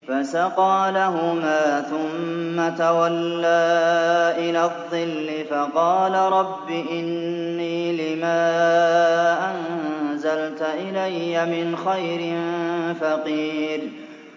فَسَقَىٰ لَهُمَا ثُمَّ تَوَلَّىٰ إِلَى الظِّلِّ فَقَالَ رَبِّ إِنِّي لِمَا أَنزَلْتَ إِلَيَّ مِنْ خَيْرٍ فَقِيرٌ